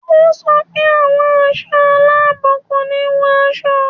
Ó sọ pé àwọn ẹ̀ṣọ́ aláàbò kò ní wọ aṣọ